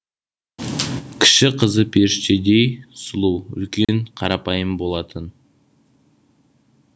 кіші қызы періштедей сұлу үлкені қарапайым болатын